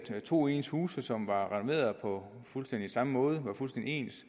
to ens huse som var renoveret på fuldstændig samme måde og var fuldstændig ens